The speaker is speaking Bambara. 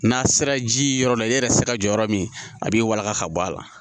N'a sera ji yɔrɔ la e yɛrɛ sera jɔ yɔrɔ min a b'i walanga ka bɔ a la